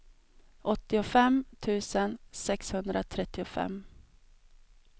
åttiofem tusen sexhundratrettiofem